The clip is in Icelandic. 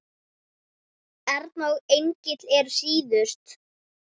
Erna og Engill eru síðust.